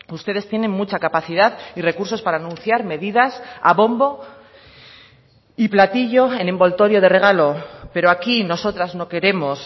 ustedes tienen mucha capacidad y recursos para anunciar medidas a bombo y platillo en envoltorio de regalo pero aquí nosotras no queremos